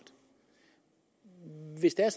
hvis det er